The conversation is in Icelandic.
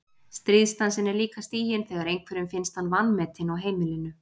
Stríðsdansinn er líka stiginn þegar einhverjum finnst hann vanmetinn á heimilinu.